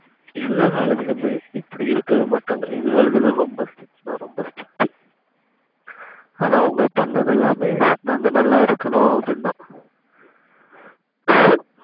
எல்லா காலேஜ்லயுமே இப்படி இருக்கவே மாட்டங்க எங்க காலேஜ்ல ரொம்ப strict னா ரொம்ப strict ஆனா அவங்க பண்ணது எல்லாமே நாங்க நால்லா இருக்கனு அப்டின்த